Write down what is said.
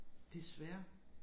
Desværre